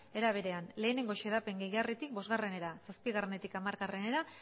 era berean bat xedapen gehigarritik bostera zazpietik hamarera